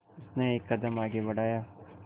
उसने एक कदम आगे बढ़ाया